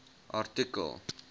artikel